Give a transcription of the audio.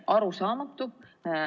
Arusaamatu.